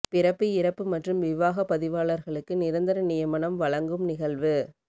பிறப்பு இறப்பு மற்றும் விவாக பதிவாளர்களுக்கு நிரந்தர நியமனம் வழங்கும் நிகழ்வு